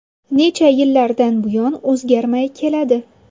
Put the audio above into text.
Necha yillardan buyon o‘zgarmay keladi.